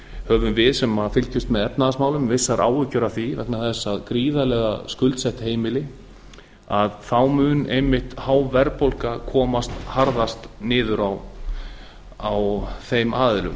höfum við sem fylgjumst með efnahagsmálum vissar áhyggjur af því vegna þess að gríðarlega skuldsett heimili að þá mun einmitt há verðbólga koma harðast niður á þeim aðilum